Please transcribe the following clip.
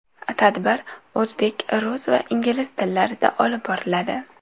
Tadbir o‘zbek, rus va ingliz tillarida olib boriladi.